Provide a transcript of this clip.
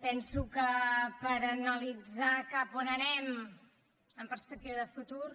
penso que per analitzar cap a on anem amb perspectiva de futur